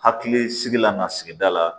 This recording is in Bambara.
Hakili sigi lan sigida la